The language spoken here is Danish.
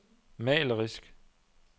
malerisk